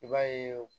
I b'a ye